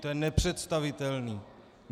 To je nepředstavitelné.